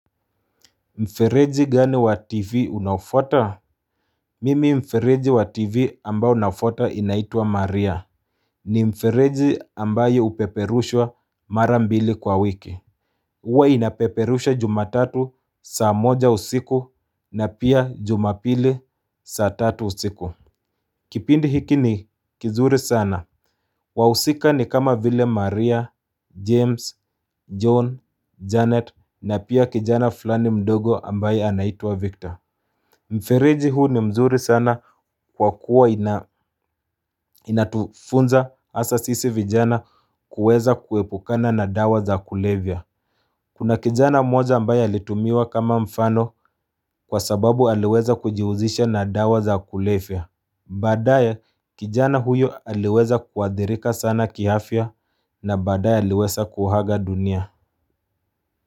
Mfereji gani wa tivi unafuata? Mimi mfereji wa tivi ambao nafuta inaitwa maria ni mfereji ambayo upeperushwa mara mbili kwa wiki Uwa inapeperushwa jumatatu saa moja usiku na pia jumapili saa tatu usiku Kipindi hiki ni kizuri sana wahusika ni kama vile Maria, James, John, Janet na pia kijana fulani mdogo ambaye anaitwa Victor Mfereji huu ni mzuri sana kwa kuwa inatufunza asa sisi vijana kuweza kuepukana na dawa za kulevya Kuna kijana moja ambaye alitumiwa kama mfano kwa sababu aliweza kujiuzisha na dawa za kulevya badaye kijana huyo aliweza kuadhirika sana kiafya na badaya aliweza kuhaga dunia.